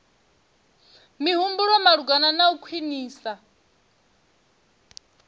mihumbulo malugana na u khwinisa